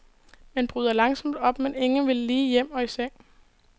Man bryder langsomt op, men ingen vil lige hjem og i seng.